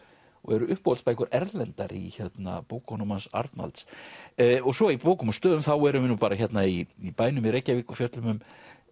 og eru Erlendar í bókunum hans Arnalds svo í bókum og stöðum erum við hérna í bænum í Reykjavík og fjöllum um